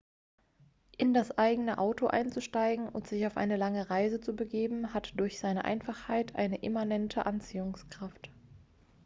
in das eigene auto einzusteigen und sich auf eine lange reise zu begeben hat durch seine einfachheit eine immanente anziehungskraft